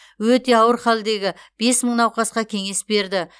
өте ауыр халдегі бес мың науқасқа кеңес берді